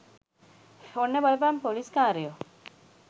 ඔන්න බලපන් පොලිස් කාරයෝ